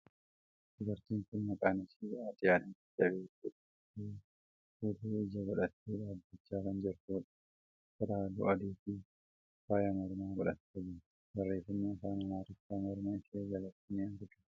Dubartiin kuni maqaan ishee aadde Adaanach Abeebee jedhamti. Fuullee ijaa godhattee dhaabbachaa kan jirtuudha. Uffata haalluu adii fi faaya mormaa godhattee jirti. Barreeffamni afaan Amaariffaa morma ishee jalatti ni argama.